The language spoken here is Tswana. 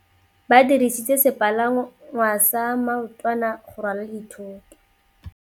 Ba dirisitse sepalangwasa maotwana go rwala dithôtô.